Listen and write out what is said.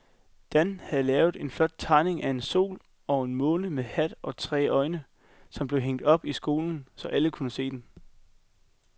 Dan havde lavet en flot tegning af en sol og en måne med hat og tre øjne, som blev hængt op i skolen, så alle kunne se den.